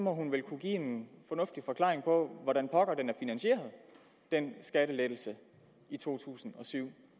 hun vel kunne give en fornuftig forklaring på hvordan pokker den skattelettelse i to tusind og syv